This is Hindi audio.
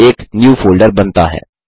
एक न्यू फोल्डर बनता है